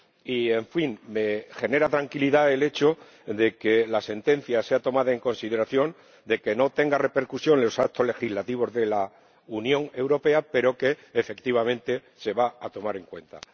y, en fin, me genera tranquilidad el hecho de que la sentencia sea tomada en consideración y que, aunque no tenga repercusión en los actos legislativos de la Unión Europea, efectivamente, se vaya a tomar en cuenta.